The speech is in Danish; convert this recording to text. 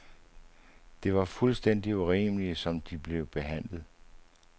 Det var fuldstændig urimeligt, som de blev behandlet.